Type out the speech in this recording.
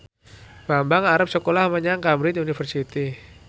Bambang arep sekolah menyang Cambridge University